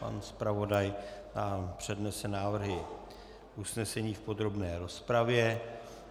Pan zpravodaj nám přednese návrhy usnesení v podrobné rozpravě.